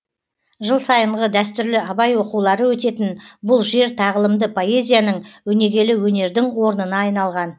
жыл сайынғы дәстүрлі абай оқулары өтетін бұл жер тағылымды поэзияның өнегелі өнердің орнына айналған